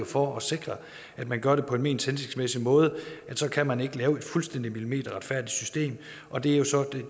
for at sikre at man gør det på den mest hensigtsmæssige måde og så kan man ikke lave et fuldstændig millimeterretfærdigt system og det er så